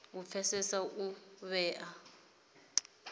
u pfesesa uri u vhewa